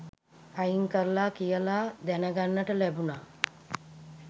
අයින් කරලා කියලා දැනගන්නට ලැබුණා.